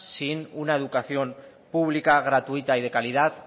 sin una educación pública y gratuita de calidad